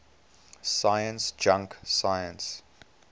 science junk science